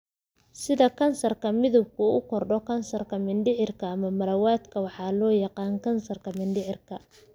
Sida Kansarka Midabku u Kordho Kansarka mindhicirka ama malawadka waxa loo yaqaan kansarka mindhicirka.